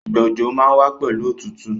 Ìgbà òjò má n wa pẹ̀lu otútù